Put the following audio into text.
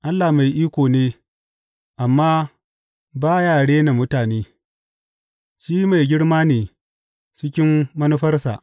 Allah mai iko ne, amma ba ya rena mutane; shi mai girma ne cikin manufarsa.